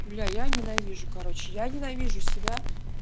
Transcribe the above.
бля я ненавижу короче я ненавижу себя